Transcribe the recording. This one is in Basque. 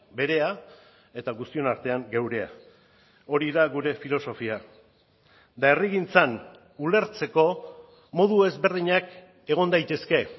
berea eta guztion artean geurea hori da gure filosofia eta herrigintzan ulertzeko modu ezberdinak egon daitezke